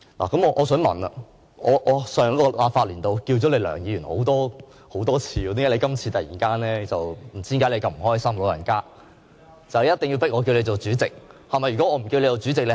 那麼我想問，我在上一個立法年度多次稱呼你為梁議員，為何你"老人家"這次如此不高興，一定要迫我稱呼你為主席呢？